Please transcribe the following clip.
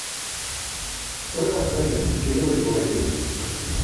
сколько стоит российский рубль сегодня